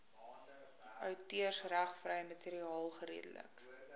outeursregvrye materiaal geredelik